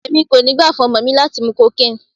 Èmi kò ní gbà fún ọmọ mi láti mú cocaine.